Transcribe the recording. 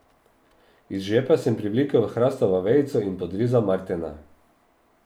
Iz žepa sem privlekel hrastovo vejico in podrezal Martena.